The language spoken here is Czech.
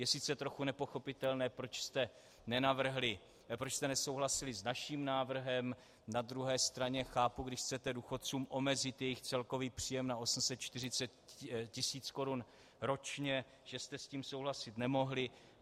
Je sice trochu nepochopitelné, proč jste nesouhlasili s naším návrhem, na druhé straně chápu, když chcete důchodcům omezit jejich celkový příjem na 850 000 korun ročně, že jste s tím souhlasit nemohli.